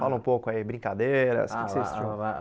Fala um pouco aí, brincadeiras, ah lá ó lá o que que vocês tinham?